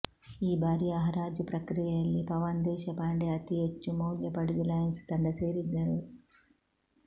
ಈ ಬಾರಿಯ ಹರಾಜು ಪ್ರಕ್ರಿಯೆಯಲ್ಲಿ ಪವನ್ ದೇಶಪಾಂಡೆ ಅತಿ ಹೆಚ್ಚು ಮೌಲ್ಯ ಪಡೆದು ಲಯನ್ಸ್ ತಂಡ ಸೇರಿದ್ದರು